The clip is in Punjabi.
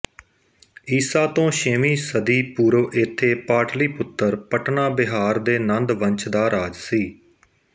ਈਸਾ ਤੋਂ ਛੇਵੀਂ ਸਦੀ ਪੂਰਵ ਇੱਥੇ ਪਾਟਲੀਪੁੱਤਰ ਪਟਨਾ ਬਿਹਾਰ ਦੇ ਨੰਦ ਵੰਸ਼ ਦਾ ਰਾਜ ਸੀ